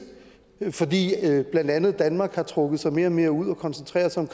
fordi blandt andet danmark har trukket sig mere og mere ud og koncentrerer sig